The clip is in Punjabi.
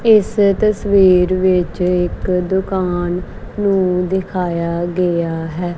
ਇਸ ਤਸਵੀਰ ਵਿੱਚ ਇੱਕ ਦੁਕਾਨ ਨੂੰ ਦਿਖਾਇਆ ਗਿਆ ਹੈ।